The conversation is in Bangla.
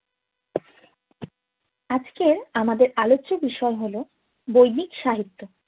আজকের আমাদের আলোচ্য বিষয় হল বৈদিক সাহিত্য